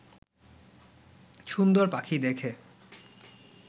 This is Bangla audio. সুন্দর পাখি দেখে